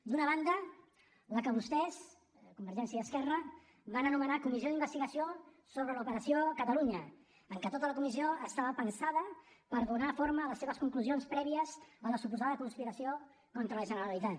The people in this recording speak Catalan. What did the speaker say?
d’una banda la que vostès convergència i esquerra van anomenar comissió d’investigació sobre l’operació catalunya en què tota la comissió estava pensada per donar forma a les seves conclusions prèvies a la suposada conspiració contra la generalitat